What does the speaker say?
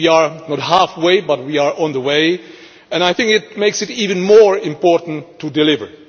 We are not halfway but we are on the way and I think it makes it even more important to deliver.